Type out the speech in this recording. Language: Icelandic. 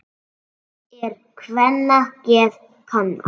Seint er kvenna geð kannað.